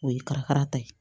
O ye ka fara ta ye